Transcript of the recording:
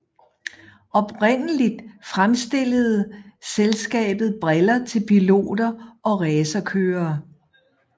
Oprindeligt fremstillede selskabet briller til piloter og racerkørere